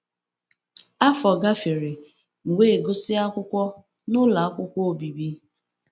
Afọ gafere, m wee gụsịa akwụkwọ n'ụlọ akwụkwọ obibi.